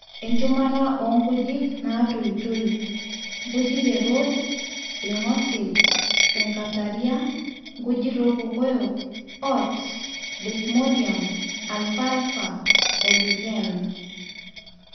enchumata oo nkujit natoitoi:nkujit e rodes, ilgosil, sekataria, nkujit olkokoyok, oats, desmodium, alfalfa oo lucerne